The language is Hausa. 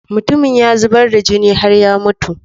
mutumin ya zubar da jini har ya mutu